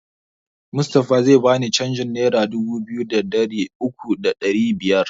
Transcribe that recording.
Mustapha zai bani canjin nera dubu biyu da ɗari uku da ɗari biyar